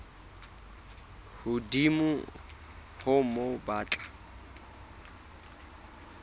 hodimo ho moo ba tla